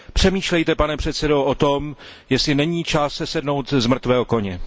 Přemýšlejte, pane předsedo, o tom, jestli není čas sesednout z mrtvého koně.